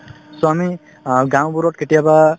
so, আমি অ গাওঁবোৰত কেতিয়াবা